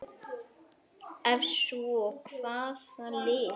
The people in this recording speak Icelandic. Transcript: Ef svo er, hvaða lið?